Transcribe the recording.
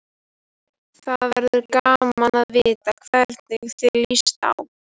Það verður gaman að vita hvernig þér líst á.